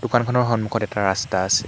দোকানখনৰ সন্মূখত এটা ৰাস্তা আছে।